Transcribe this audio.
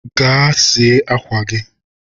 gaa sie akwa gị!